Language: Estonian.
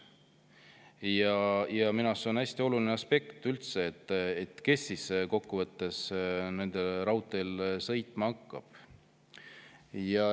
Minu arust on üldse hästi oluline aspekt see, kes siis kokkuvõttes sellel raudteel sõitma hakkab.